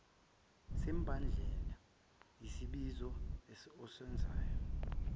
semibandela yesibizo osenzayo